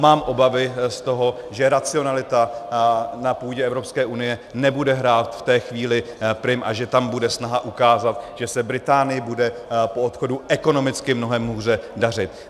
Mám obavy z toho, že racionalita na půdě Evropské unie nebude hrát v té chvíli prim a že tam bude snaha ukázat, že se Británii bude po odchodu ekonomicky mnohem hůře dařit.